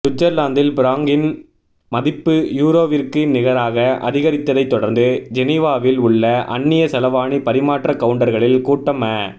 சுவிட்சர்லாந்தின் பிராங்கின் மதிப்பு யூரோவிற்கு நிகராக அதிகரித்ததை தொடர்ந்து ஜெனிவாவில் உள்ள அந்நிய செலவாணி பரிமாற்ற கவுண்டர்களில் கூட்டம் அ